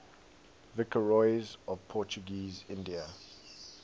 viceroys of portuguese india